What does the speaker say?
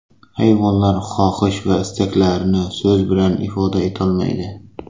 Hayvonlar xohish va istaklarini so‘z bilan ifoda etolmaydi.